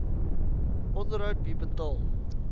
onderhoud wie betaal